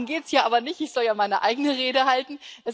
Darum geht es hier aber nicht, ich soll ja meine eigene Rede halten.